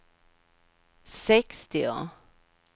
sextio